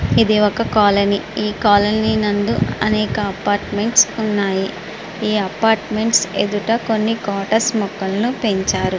ఇది ఒక colony . Colony నందు అనేక అపార్ట్మెంట్స్ ఉన్నాయి. ఈ అపార్ట్మెంట్స్ ఎదుట కొన్ని కోటర్స్ మొక్కల్ని పెంచారు.